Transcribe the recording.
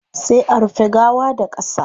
Sai a rufe gawa da qasa